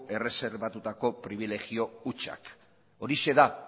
erreserbatutako pribilegio hutsak horixe da